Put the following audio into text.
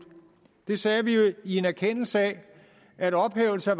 det sagde vi i en erkendelse af at ophævelse af